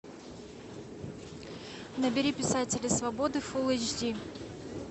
набери писатели свободы фул эйч ди